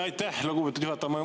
Aitäh, lugupeetud juhataja!